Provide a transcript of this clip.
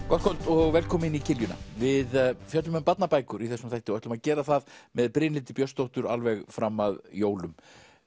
gott kvöld og velkomin í kiljuna við fjöllum um barnabækur í þessum þætti og ætlum að gera það með Brynhildi Björnsdóttur alveg fram að jólum